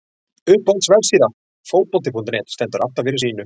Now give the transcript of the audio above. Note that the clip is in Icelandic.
Uppáhalds vefsíða? Fótbolti.net stendur alltaf fyrir sínu.